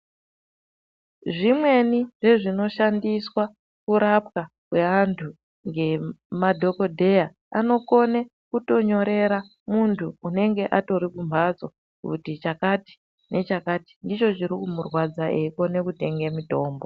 Zvimweni zvezvinoshandiswa kurapwa kweantu ngemadhokodheya anokone kutonyorera muntu unenge atori kumhatso kuti chakati nechakati ndicho chiri kumurwadza eikone kutenge mitombo.